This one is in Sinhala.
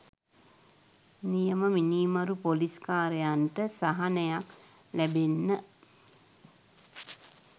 නියම මිනීමරු පොලිස් කාරයන්ට සහනයක් ලැබෙන්න